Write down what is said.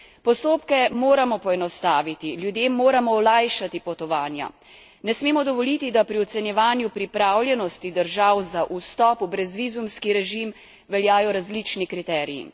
Postopke moramo poenostaviti, ljudem moramo olajšati potovanja. Ne smemo dovoliti, da pri ocenjevanju pripravljenosti držav za vstop v brezvizumski režim veljajo različni kriteriji.